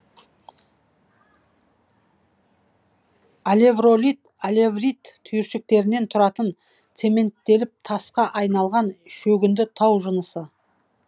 алевролит алеврит түйіршіктерінен тұратын цементтеліп тасқа айналған шөгінді тау жынысы